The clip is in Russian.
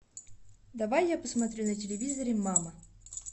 давай я посмотрю на телевизоре мама